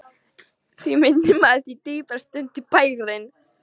Því minni maður, því dýpra stendur bærinn.